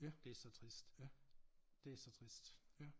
Det så trist det så trist